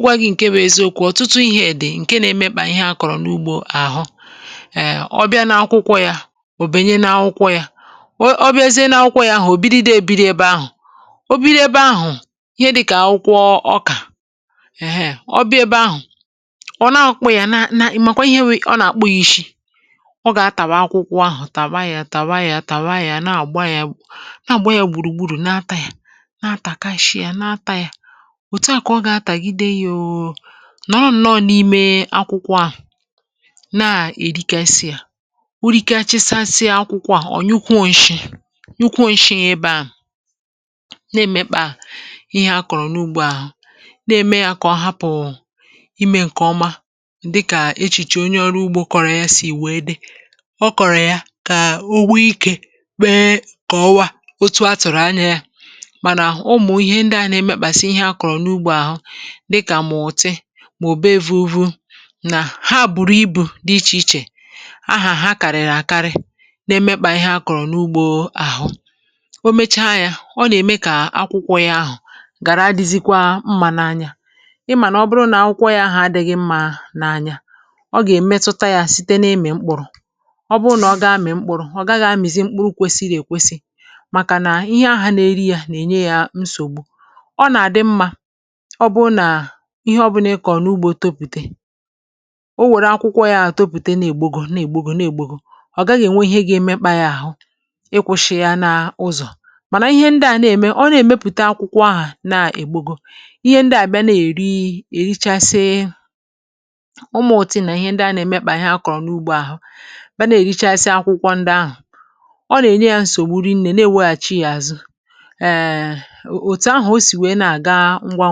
Gwa gị nke bụ eziokwu, ọ̀tụtụ ihe dị nke na-emekpà ihe a kọrọ n’ugbo ahụ. Eee, ọ bịa na akwụkwọ ya, ọ banye na akwụkwọ ya, ọ bịazie na akwụkwọ ya ahụ, ọ bidoro ibi ebe ahụ, ọ bidoro ebe ahụ. Ihe dị ka akwụkwọ ọka, eehee, ọ bụ ebe ahụ ọ na-akpọ ya. Na mgbe ihe wee, ọ na-akpọghị isi, ọ ga-atàwà akwụkwọ ahụ, tàwa ya, tàwa ya, tàwa ya na-agba ya, gbùrùgburù, na-atà ya, na-akashi ya, na-atà ya, nọ n’ime akwụkwọ ahụ, na-erikasị uru kacha site n’akwụkwọ ahụ. Ọ nyụkwuọnshi, nyụkwuọnshi ebe a, na-emekpà ihe a kọrọ n’ugbo ahụ. A na-eme ya ka ọ hapụ ime nke ọma, dịka echiche onye ọrụ ugbo kọrọ ya si wee dị. Ọ kọrọ ya ka ugbo ike kọwaa otu atụrụ anya, ma ụmụ ihe dị a na-emekpàsi ihe akọrọ n’ugbo ahụ, dịka mọti ma ọ bụ òbe èvùuvu. Uru na ha, bụrịrị ibu dị iche iche, aha ha karịrị akarị, na-emekpà ihe a kọrọ n’ugbo ahụ. O mechaa ya, ọ na-eme ka akwụkwọ ya ahụ gara dizikwa mma n’anya. Ị ma na ọ bụrụ na akwụkwọ ya ahụ adịghị mma n’anya, ọ ga-emetụta ya site n’imi mkpụrụ. Ọ bụrụ na ọ ga-amị mkpụrụ, ọ ga-amịrị mkpụrụ kwesịrị ekwesi, maka na ihe ahụ na-eri ya na-enye ya nsogbu. Ọ na-adị mma ihe ọbụla ị kọrọ n’ugbo tupu e were akwụkwọ ya topụta. Na-ègbogò, na-ègbogò, na-ègbogò, ọ gaghị enwe ihe ga-emekpà ya ahụ, i kwụsịrị ya n’ụzọ. Mana ihe ndị a na-eme, ọ na-emepụta akwụkwọ ahụ, na-ègbogò ihe ndị a. Ndị bịa na-eri, erichasị, ụmụ otu na ihe ndị a na-emekpà ihe a kọrọ n’ugbo ahụ, bịa na-erichasị akwụkwọ ndị ahụ. Ọ na-enye ya nsogbu, rịnne, na-ewereghachi ya azụ. Ọ ga-adizikwa ngwa ngwa,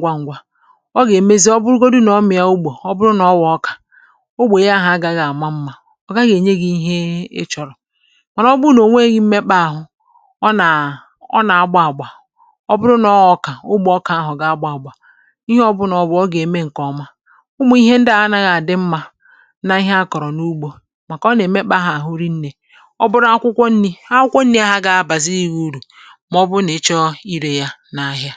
ngwa ngwa, ngwa, ọ ga-emezi. Ọ bụrụgodị na ọ maara ya, ugbo, ọ bụrụ na ọ bụ ọka ugbo, ihe ahụ ga-ama mma. Ọ ga-enye gị ihe ị chọrọ. Mana ọ bụrụ na o nwere emekpà ahụ, ọ na-agba agba. Ọ bụrụ na ọ bụ ọka ugbo, ọka ahụ ga-agba agba. Ihe ọ bụla ọ bụrụ, ọ ga-eme nke ọma. Ụmụ ihe ndị a anaghị adị mma n’ihe a kọrọ n’ugbo, maka ọ na-emekpà ahụ, rịnne. Ọ bụrụ akwụkwọ nri ha, akwụkwọ nri agaghị agbaziri uru, ma ọ bụ na ịchọ ire ya n’ahịa.